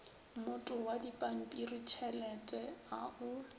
mmoto wa dipampiritšhelete a o